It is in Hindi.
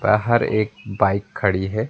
बाहर एक बाइक खड़ी है।